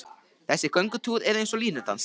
Þessi göngutúr er eins og línudans.